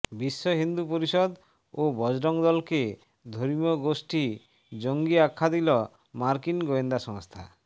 বিশ্ব হিন্দু পরিষদ ও বজরং দলকে ধর্মীয় গোষ্ঠী জঙ্গি আখ্যা দিল মার্কিন গোয়েন্দা সংস্থা